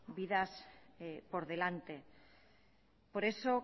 vidas por delante por eso